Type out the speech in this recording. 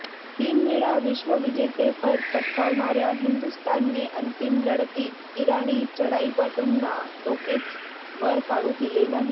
तीनवेळा विश्वविजेतेपद पटकावणाऱ्या हिंदुस्थानने अंतिम लढतीत इराणी चढाईपटूंना डोकेच वर काढू दिले नाही